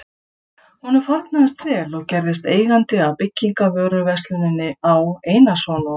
Honum farnaðist vel og gerðist eigandi að byggingarvöruversluninni Á. Einarsson og